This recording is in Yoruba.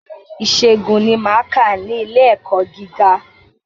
Ìṣègùn ni máa kà ní ilé ẹ̀kọ́ gíga.